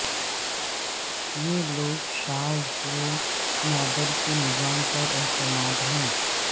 یہ لوگ شاذ و نادر کے نظام پر اعتماد ہے